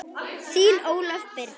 Þín Ólöf Birna.